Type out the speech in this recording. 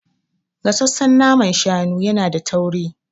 Gasassan naman shanu yana da tauri.